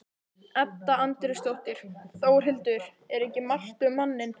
Edda Andrésdóttir: Þórhildur, er ekki margt um manninn?